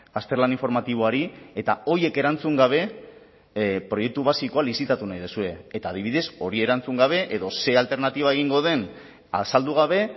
azterlan informatiboari eta horiek erantzun gabe proiektu basikoa lizitatu nahi duzue eta adibidez hori erantzun gabe edo ze alternatiba egingo den azaldu gabe